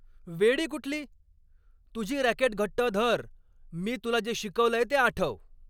वेडी कुठली. तुझी रॅकेट घट्ट धर. मी तुला जे शिकवलंय ते आठव.